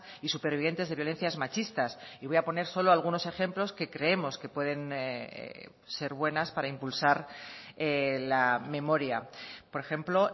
y supervivientes de violencias machistas y voy a poner solo algunos ejemplos que creemos que pueden ser buenas para impulsar la memoria por ejemplo